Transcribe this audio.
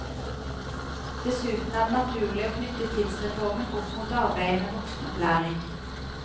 Dessuten er det naturlig å knytte tidsreformen opp mot arbeidet med voksenopplæring.